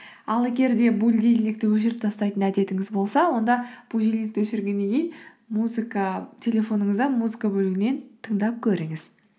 ал егер де будильникті өшіріп тастайтын әдетіңіз болса онда будильникті өшіргеннен кейін телефоныңызда музыка бөлімінен тыңдап көріңіз